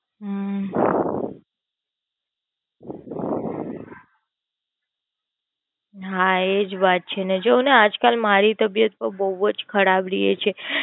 હમ હા એ જ વાત છે. જોને આજકાલ મારી Health પણ બોવ ખરાબ રે છે.